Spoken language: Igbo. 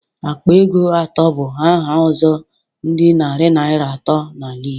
Akpa ego atọ bụ aha ọzọ dị narị naira atọ n'ala Igbo.